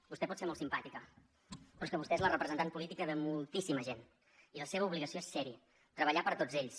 vostè pot ser molt simpàtica però és que vostè és la representant política de moltíssima gent i la seva obligació és ser hi treballar per a tots ells